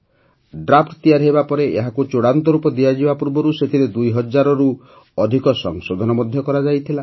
draft ତିଆରି ହେବା ପରେ ଏହାକୁ ଚୂଡ଼ାନ୍ତ ରୂପ ଦିଆଯିବା ପୂର୍ବରୁ ସେଥିରେ ୨୦୦୦ ରୁ ଅଧିକ ସଂଶୋଧନ କରାଯାଇଥିଲା